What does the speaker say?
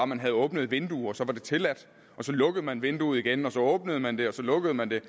man havde åbnet et vindue og så var det tilladt og så lukkede man vinduet igen og så åbnede man det og så lukkede man det